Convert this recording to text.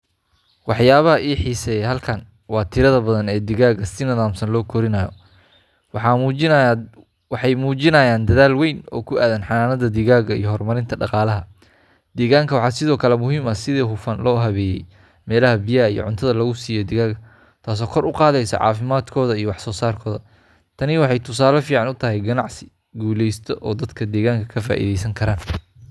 Waxyaabaha i xiiseeya halkan waa tirada badan ee digaagga si nidaamsan loo korinayo. Waxay muujinayaan dadaal weyn oo ku aaddan xanaanada digaagga iyo horumarinta dhaqaalaha deegaanka. Waxaa sidoo kale muhiim ah sida si hufan loo habeeyey meelaha biyaha iyo cuntada, lagu siiyo digaagga, taasoo kor u qaadaysa caafimaadkooda iyo wax soosaarkooda. Tani waxay tusaale fiican u tahay ganacsi guuleysta oo dadka deegaanka ka faa’iideyn san karan.